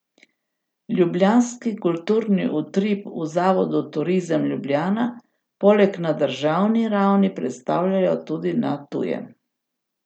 Ljubljanski kulturni utrip v zavodu Turizem Ljubljana poleg na državni ravni predstavljajo tudi na tujem.